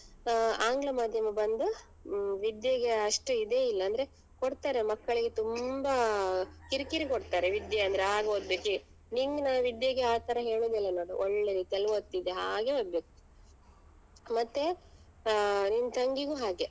ಆಂಗ್ಲ ಮಾಧ್ಯಮ ಬಂದ್ ಹ್ಮ್‌ ವಿದ್ಯೆಗೆ ಅಷ್ಟು ಇದೇ ಇಲ್ಲ ಅಂದ್ರೆ ಕೊಡ್ತಾರೆ ಮಕ್ಕಳಿಗೆ ತುಂಬಾ ಕಿರಿ ಕಿರಿ ಕೊಡ್ತಾರೆ ವಿದ್ಯೆ ಅಂದ್ರೆ ಆಗ್ ಓದ್ಬೇಕು ನಿಂಗ್ ನಾನ್ ವಿದ್ಯೆಗೆ ಆತರ ಹೇಳುದಿಲ್ಲ ನೋಡ್ ಒಳ್ಳೆ ರೀತಿಯಲ್ಲಿ ಓದ್ತಿದ್ದೆ ಹಾಗೆ ಆಗ್ಬೇಕು ಮತ್ತೆ ಆಹ್ ನಿನ್ ತಂಗಿಗೂ ಹಾಗೆ.